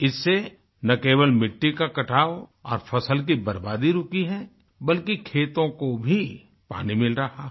इससे ना केवल मिट्टी का कटाव और फसल की बर्बादी रुकी है बल्कि खेतों को भी पानी मिल रहा है